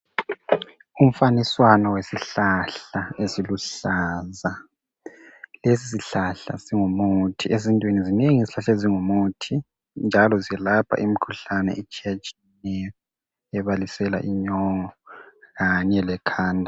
Izihlahla ezinengi zingumuthi njalo ziyelapha imikhuhlane etshiya tshiyeneyo ebalisela inyongo kanye lekhanda.